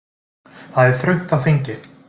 Það er þröngt á þingi